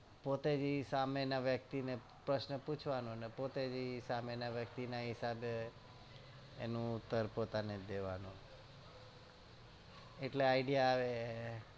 પોતે જ ઇ સામેના વ્યક્તિ ને પ્રશ્ન પૂછવાનો ને પોતે જ ઇ સામે ના વ્યક્તિ હિસાબે અનો ઉતર પોતાને દેવાનો એટલે idea આવે